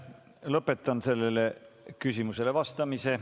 Lõpetan sellele küsimusele vastamise.